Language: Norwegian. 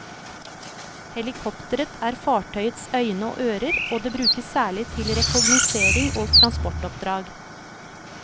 Helikopteret er fartøyets øyne og ører, og det brukes særlig til rekognosering og transportoppdrag.